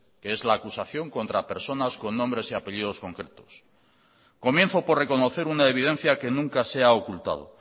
que es la acusación contra personas con nombres y apellidos concretos comienzo por reconocer una evidencia que nunca se ha ocultado